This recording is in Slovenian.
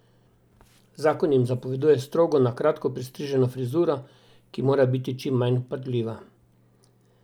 Zakon jim zapoveduje strogo na kratko pristriženo frizuro, ki mora biti čim manj vpadljiva.